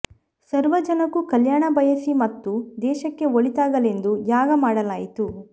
ಸರ್ವ ಜನಕ್ಕೂ ಕಲ್ಯಾಣ ಬಯಸಿ ಮತ್ತು ದೇಶಕ್ಕೆ ಒಳಿತಾಗಲೆಂದು ಯಾಗ ಮಾಡಲಾಯಿತು